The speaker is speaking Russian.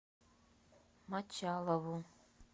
мочалову